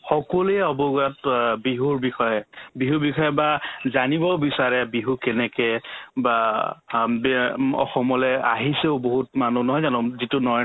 সকলোৱে অৱগত বিহুৰ বিষয়ে বিহুৰ বিষয়ে বা জানিবও বিচাৰে বিহু কেনেকে বা হম বিয় উম অসমলে আহিছেও বহুত মানুহ নহয় জানো যিটো নৰেন্